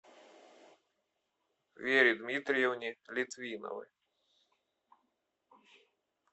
вере дмитриевне литвиновой